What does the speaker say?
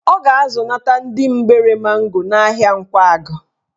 Ọ ga-azụnata ndị mgbere mango n'ahịa Nkwagụ